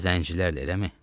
Özü də zəncilərlə, eləmi?